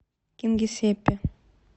кингисеппе